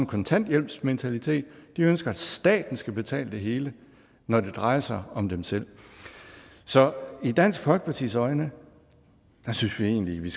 kontanthjælpsmentalitet de ønsker at staten skal betale det hele når det drejer sig om dem selv så i dansk folkepartis øjne synes vi egentlig